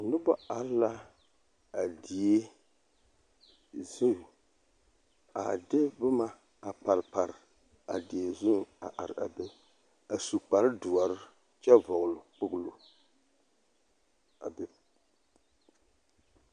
Noba are la a die zu a de boma a pare pare a die zuiŋ a are a be a su kpardoɔre kyɛ vɔɡele kpoɡelo a be.